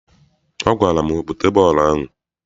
Ọ gwara m, bute bọọlụ ahụ!